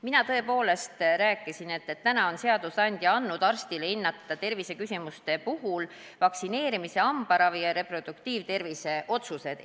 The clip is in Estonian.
Mina tõepoolest rääkisin, et täna on seadusandja andnud arstile võimaluse hinnata terviseküsimuste puhul vaktsineerimise, hambaravi ja reproduktiivtervisega seotud otsuseid.